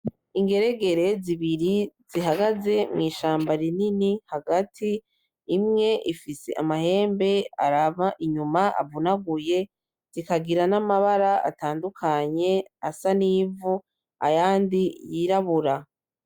Ingeregere zibiri zihagaze mw’ishamba rinini hagati imwe ifise amahembe araba inyuma avunaguye zikagira n’amabara atandukanye asa nivu ayandi yirabura .